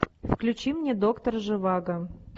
включи мне доктор живаго